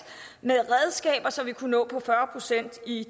med redskaber så vi kunne nå op på fyrre procent i